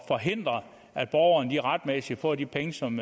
forhindre at borgerne retmæssigt får de penge som